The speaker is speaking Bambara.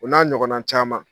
O n'a ɲɔgɔn na caman.